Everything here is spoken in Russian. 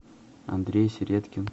андрей середкин